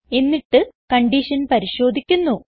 എന്നിട്ട് കൺഡിഷൻ പരിശോധിക്കുന്നു